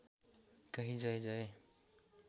कही जय जय